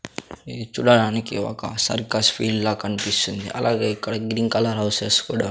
ఇది చూడడానికి ఒక సర్కస్ ఫీల్డ్ లా కనిపిస్తుంది అలాగే ఇక్కడ గ్రీన్ కలర్ హౌసెస్ కూడా.